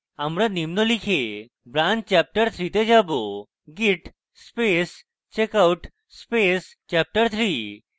আমরা নিম্ন লিখে branch chapterthree যে যাবো git space checkout space chapterthree